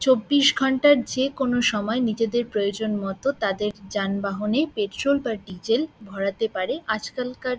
চব্বিশ ঘণ্টার যেকোন সময়ে নিজেদের প্রয়োজন মত তাদের যানবাহনে পেট্রোল বা ডিজেল ভরাতে পারে আজকালকার--